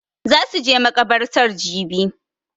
Za su je makabartar jibi